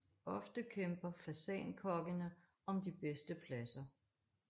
Ofte kæmper fasankokkene om de bedste pladser